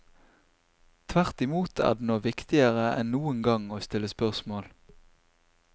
Tvertimot er det nå viktigere enn noen gang å stille spørsmål.